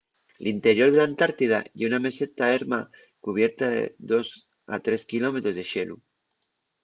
l'interior de l'antartida ye una meseta erma cubierta de 2-3 km de xelu